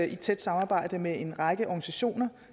i tæt samarbejde med en række organisationer